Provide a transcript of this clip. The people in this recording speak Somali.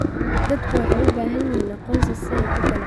Dadku waxay u baahan yihiin aqoonsi ay ku ganacsadaan.